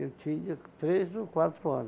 Eu tinha três ou quatro ano